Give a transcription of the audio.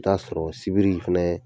I bi t'a sɔrɔ, sibiri fɛnɛ ye